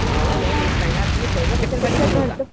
मला मॅम एक सांगा तुम्ही पैसे कशासाठी कमवता